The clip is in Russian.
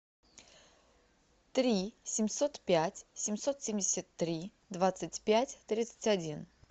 три семьсот пять семьсот семьдесят три двадцать пять тридцать один